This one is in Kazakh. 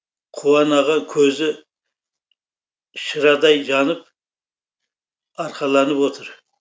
қуан аға көзі шырадай жанып арқаланып отыр